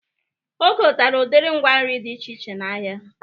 O gotere udiri ngwa nri dị iche iche n'ahia